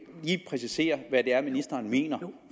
lige præcisere hvad det er ministeren mener for